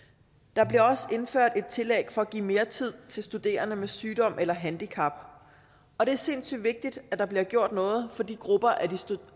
der bliver også indført et tillæg for at give mere tid til studerende med sygdom eller handicap og det er sindssygt vigtigt at der bliver gjort noget for de grupper